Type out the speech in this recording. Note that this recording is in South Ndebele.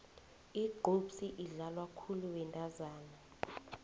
igqubhsi idlalwa khulu bentazana